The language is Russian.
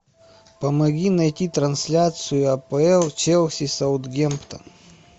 помоги найти трансляцию апл челси саутгемптон